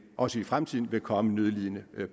også i fremtiden vil komme nødlidende